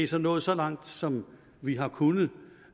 så nået så langt som vi har kunnet